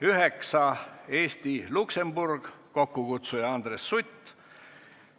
Üheksandaks, Eesti-Luksemburg, kokkukutsuja on Andres Sutt.